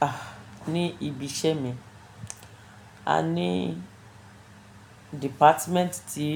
Ah! Ni ibi iṣẹ́ mi, a ní dìpátímẹ́ǹtì tí